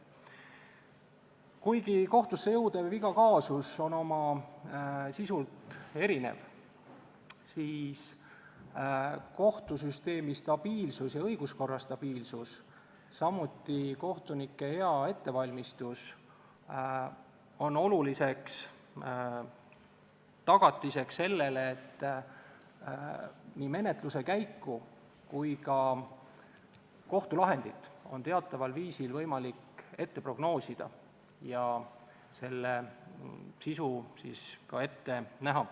Kuigi iga kohtusse jõudev kaasus on oma sisult erinev, siis kohtusüsteemi stabiilsus ja õiguskorra stabiilsus, samuti kohtunike hea ettevalmistus on oluliseks tagatiseks sellele, et nii menetluse käiku kui ka kohtulahendit on teataval viisil võimalik prognoosida ja selle sisu ka ette näha.